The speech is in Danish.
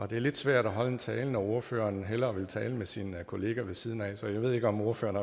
det er lidt svært at holde en tale når ordføreren hellere vil tale med sin kollega ved siden af så jeg ved ikke om ordføreren